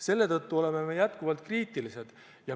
Selle tõttu oleme me jätkuvalt kriitilised.